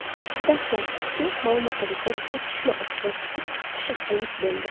Dastlabki ma’lumotlarga ko‘ra, otishma oqibatida sakkiz kishi halok bo‘ldi.